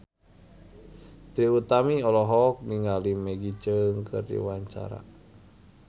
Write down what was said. Trie Utami olohok ningali Maggie Cheung keur diwawancara